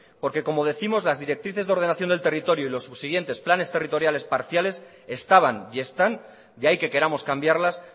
porque como décimos las directrices de ordenación del territorio y los subsiguientes planes territoriales parciales estaban y están y ahí que queramos cambiarlas